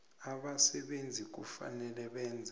abasebenzi kufanele benze